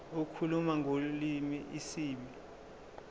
lokukhuluma ngolimi isib